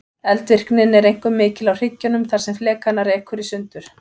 Eldvirknin er einkum mikil á hryggjunum þar sem flekana rekur sundur.